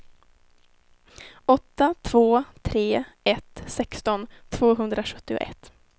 åtta två tre ett sexton tvåhundrasjuttioett